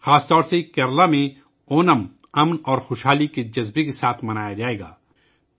اونم خاص طور پر کیرالہ میں امن اور خوشحالی کے جذبے کے ساتھ منایا جائے گا